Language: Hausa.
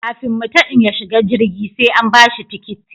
Kafin mutum ya shiga jirgi sai an ba shi tikiti